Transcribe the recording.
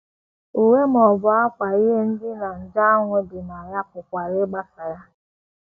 Uwe ma ọ bụ ákwà ihe ndina nje ahụ dị na ya pụkwara ịgbasa ya.